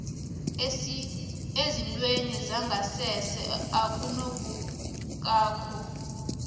esithweni sangasese okunukako